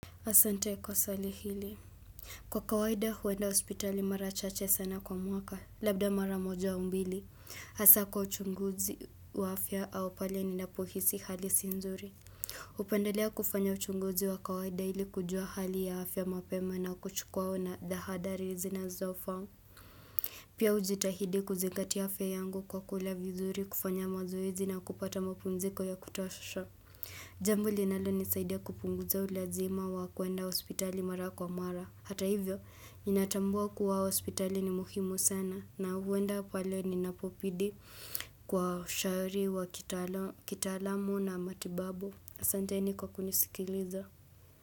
Asante kwa swali hili. Kwa kawaida huenda hospitali mara chache sana kwa mwaka labda mara moja au mbili. hAsa kwa uchunguzi wa afya au pale ni napohisi hali sinzuri. hUpendelea kufanya uchunguzi wa kawaida ili kujua hali ya afya mapema na kuchukua na dhahadari izi na zofamu. Pia hujitahidi kuzingatia afya yangu kwa kula vizuri kufanya mazoezi na kupata mapumziko ya kutosha. Jambo linalo nisaidia kupunguza ulazima wa kuenda hospitali mara kwa mara. Hata hivyo, ninatambua kuwa hospitali ni muhimu sana na huenda pale ninapobidi kwa ushauri wa kitaalamu na matibabu. aSanteni kwa kunisikiliza.